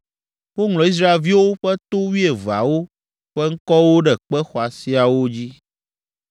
Woŋlɔ Israelviwo ƒe to wuieveawo ƒe ŋkɔwo ɖe kpe xɔasiawo dzi.